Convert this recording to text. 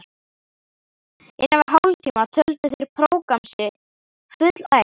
innan við hálftíma töldu þeir prógramm sitt fullæft.